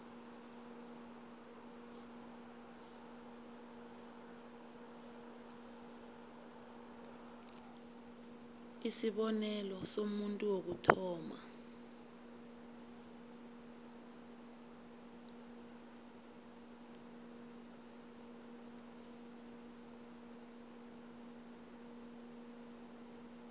isibonelo somuntu wokuthoma